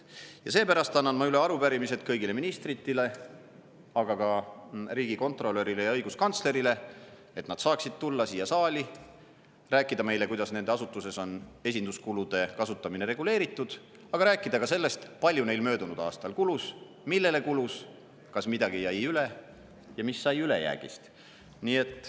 Ja seepärast annan ma üle arupärimised kõigile ministritele, aga ka riigikontrolörile ja õiguskantslerile, et nad saaksid tulla siia saali ja rääkida meile, kuidas nende asutuses on esinduskulude kasutamine reguleeritud, ning rääkida ka sellest, kui palju neil möödunud aastal kulus, millele kulus, kas midagi jäi üle ja mis sai ülejäägist.